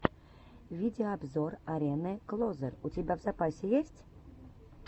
видеообзор арены клозер у тебя в запасе есть